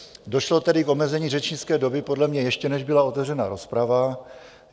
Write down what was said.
Došlo tedy k omezení řečnické doby podle mě, ještě než byla otevřena rozprava.